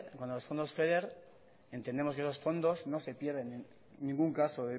entendemos que esos fondos no se pierden en ningún caso